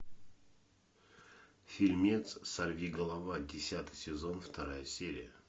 фильмец сорви голова десятый сезон вторая серия